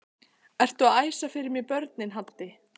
Ertu að æsa fyrir mér börnin Haddi!